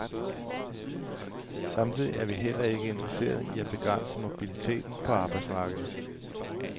Samtidig er vi heller ikke interesseret i at begrænse mobiliteten på arbejdsmarkedet.